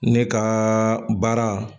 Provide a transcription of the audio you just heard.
Ne kaa baara